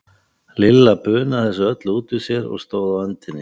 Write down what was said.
Lilla bunaði þessu öllu út úr sér og stóð á öndinni.